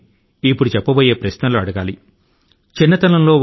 పెద్దవారి ని ఎటువంటి ప్రశ్నల ను అడగాలో నేను కొన్ని సూచన లు ఇస్తాను